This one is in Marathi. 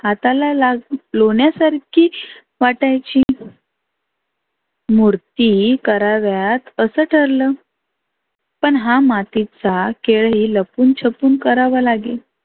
हाताला लाग लोण्यासारखी वाटायची. मुर्ती कराव्यात असं ठरलं. पण हा मातीचा खेळही लपून छपून करावा लागे.